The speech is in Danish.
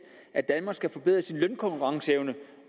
at danmark skal forbedre sin lønkonkurrenceevne